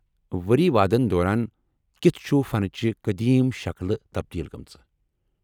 ؤری وادن دوران کِتھہٕ چُھ فنچہِ قدیم شکلہٕ تبدیل گٲمٕژٕ؟